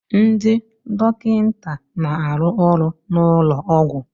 Ndị dọkịta na-arụ ọrụ n'ụlọ ọgwụ